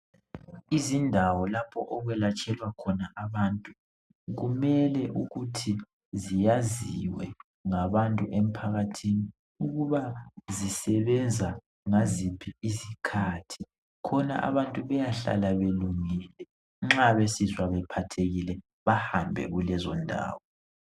Izindawo lapho okwelatshelwa khona abantu kumele ukuthi ziyaziwe ngabantu emphakathini ukuba zisebenza ngasiphi isikhathi khona abantu beyahlala belungile nxa besizwa bephathekile bahambe kulezo ndawo